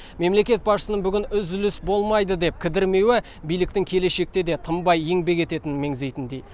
мемлекет басшысының бүгін үзіліс болмайды деп кідірмеуі биліктің келешекте де тынбай еңбек ететінін меңзейтіндей